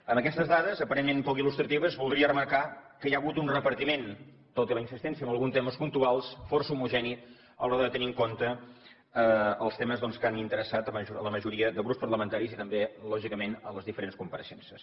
amb aquestes dades aparentment poc il·lustratives voldria remarcar que hi ha hagut un repartiment tot i la insistència en alguns temes puntuals força homogeni a l’hora de tenir en compte els temes doncs que han interessat la majoria de grups parlamentaris i també lògicament les diferents compareixences